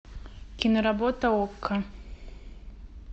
киноработа окко